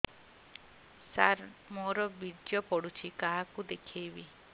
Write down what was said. ସାର ମୋର ବୀର୍ଯ୍ୟ ପଢ଼ୁଛି କାହାକୁ ଦେଖେଇବି